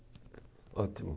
Ótimo.